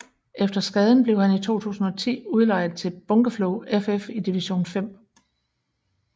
Efter skaden blev han i 2010 udlejet til Bunkeflo FF i division 5